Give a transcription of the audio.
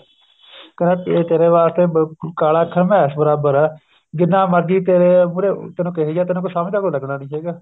ਕਹਿੰਦਾ ਤੇਰੇ ਵਾਸਤੇ ਕਾਲਾ ਅੱਖਰ ਮੈਸ਼ ਬਰਾਬਰ ਹੈ ਜਿੰਨਾ ਮਰਜੀ ਤੇਰੇ ਮੁਹਰੇ ਤੈਨੂੰ ਕਈ ਜਾ ਤੈਨੂੰ ਕੁੱਝ ਸਮਝ ਤਾਂ ਕੁੱਝ ਲੱਗਣਾ ਨਹੀਂ ਹੈਗਾ